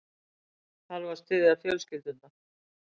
Þarf að styðja fjölskyldurnar